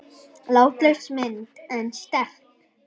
Látlaus mynd en sterk.